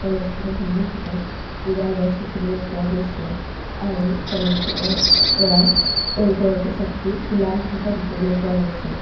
কলেজখনৰ সন্মুখতে দুডাল গছ দেখিবলৈ পোৱা গৈছে আৰু কলেজখনৰ পৰা এলগৰাকী ছাত্ৰী উলাই আহি থকা দেখিবলৈ পোৱা গৈছে।